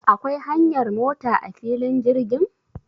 Akwai hanyar mota a filin jirgin?